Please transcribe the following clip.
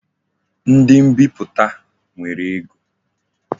Ndi mbiputa nwere ego